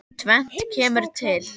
Tvennt kemur til.